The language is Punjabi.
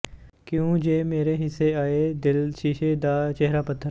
ਕਿਉਂ ਜੇ ਮੇਰੇ ਹਿੱਸੇ ਆਇਐ ਦਿਲ ਸ਼ੀਸ਼ੇ ਦਾ ਚਿਹਰਾ ਪੱਥਰ